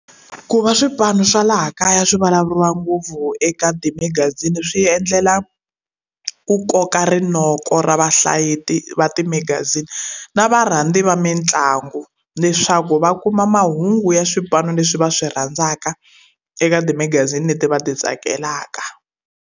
Ku va swipano swa laha kaya swi vulavuriwa ngopfu eka timagazini swi endlela ku koka rinoko ra vahlayi va timagazini, na varhandzi va mitlangu. Leswaku va kuma mahungu ya swipano leswi va swi rhandzaka eka timagazini leti va ti tsakelaka.